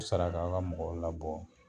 Sara ka a ka mɔgɔ labɔ